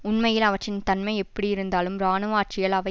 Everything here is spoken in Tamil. உண்மையில் அவற்றின் தன்மை எப்படி இருந்தாலும் இராணுவ ஆட்சியால் அவை